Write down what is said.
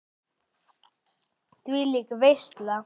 Þvílík veisla.